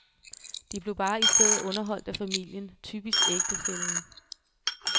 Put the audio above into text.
De blev bare i stedet underholdt af familien, typisk ægtefællen.